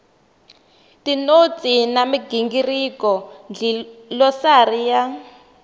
tinotsi na migingiriko dlilosari ya